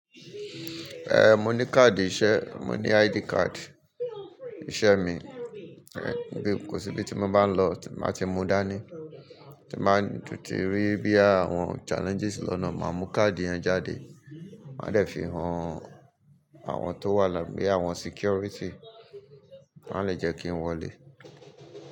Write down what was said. Eh, mo ní káàdì iṣẹ́, mo ní ID card iṣẹ́ mi. Bí kò síbi tí mo bá ń lọ tí má ti mu dání, tí má ń tutì rí bí àwọn challenges lọ́nà, máa mú káà dì yẹn jáde. Ma n dẹ̀ fi hàn àwọn tó wà lábẹ́ àwọn security, wọ́n á lè jẹ́ kí n wọlé.